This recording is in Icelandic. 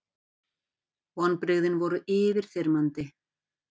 Kamilla lá lengi í ylvolgu baðvatninu eftir að hafa komið Arnari í rúmið.